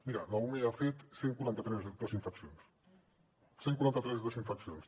miri l’ume ha fet cent i quaranta tres desinfeccions cent i quaranta tres desinfeccions